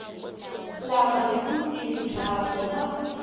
lama hi vutivi byakwe ma